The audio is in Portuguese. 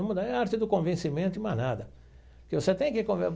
É a arte do convencimento e mais nada que você tem que.